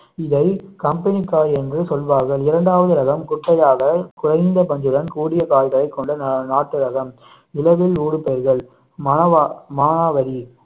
இதை கம்பெனி காய் என்று சொல்லுவார்கள் இரண்டாவது ரகம் குட்டையாக குறைந்த பஞ்சுடன் கூடிய காய்களை கொண்ட நாட்டு ரகம் இலவில் ஊடு தருதல் மனவா~ மானாவரி